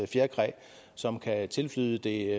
fjerkræ som kan tilflyde det